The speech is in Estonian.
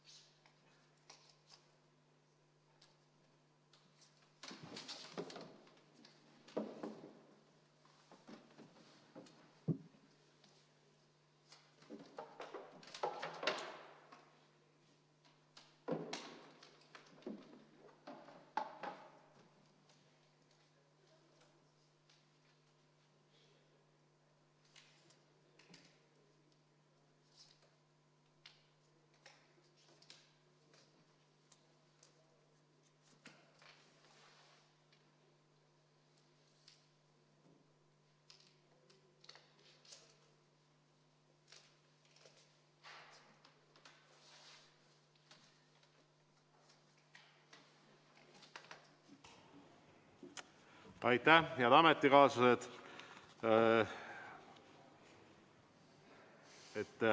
Head ametikaaslased!